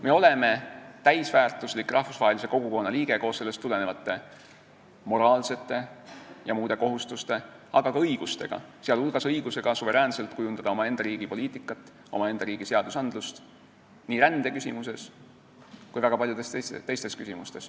Me oleme täisväärtuslik rahvusvahelise kogukonna liige koos sellest tulenevate moraalsete ja muude kohustuste, aga ka õigustega, sh õigusega suveräänselt kujundada omaenda riigi poliitikat, omaenda riigi seadusi nii rändeküsimuses kui ka väga paljudes teistes küsimustes.